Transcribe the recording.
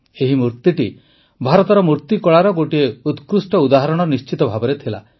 ଏହି ମୂର୍ତ୍ତିଟି ଭାରତର ମୂର୍ତ୍ତିକଳାର ଗୋଟିଏ ଉକ୍ରୃଷ୍ଟ ଉଦାହରଣ ନିଶ୍ଚିତ ଭାବେ ଥିଲା